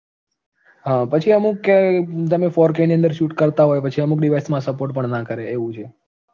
હા પછી અમુક કે તમે four K ની અંદર shoot કરતા હોય પછી અમુક device માં support પણ ના કરે એવું છે